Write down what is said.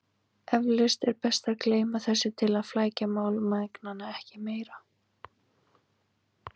Eflaust er best að gleyma þessu til að flækja mál mæðgnanna ekki meira.